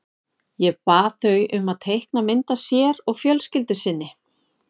Ég bað þau um að teikna mynd af sér og fjölskyldu sinni.